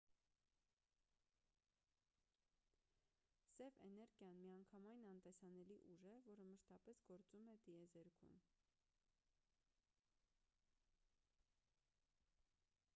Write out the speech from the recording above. սև էներգիան միանգամայն անտեսանելի ուժ է որը մշտապես գործում է տիեզերքում